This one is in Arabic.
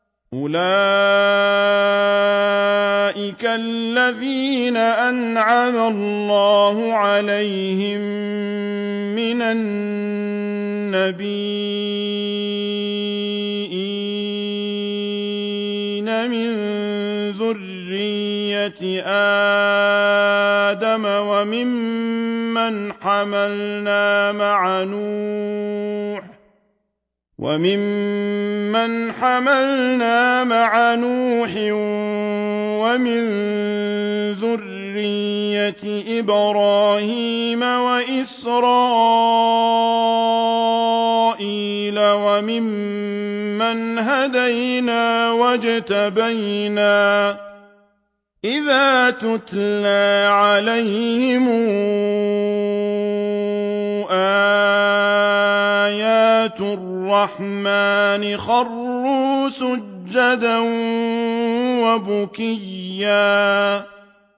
أُولَٰئِكَ الَّذِينَ أَنْعَمَ اللَّهُ عَلَيْهِم مِّنَ النَّبِيِّينَ مِن ذُرِّيَّةِ آدَمَ وَمِمَّنْ حَمَلْنَا مَعَ نُوحٍ وَمِن ذُرِّيَّةِ إِبْرَاهِيمَ وَإِسْرَائِيلَ وَمِمَّنْ هَدَيْنَا وَاجْتَبَيْنَا ۚ إِذَا تُتْلَىٰ عَلَيْهِمْ آيَاتُ الرَّحْمَٰنِ خَرُّوا سُجَّدًا وَبُكِيًّا ۩